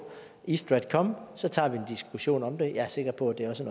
east stratcom og så tager vi en diskussion om det og jeg er sikker på at det også